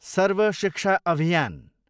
सर्व शिक्षा अभियान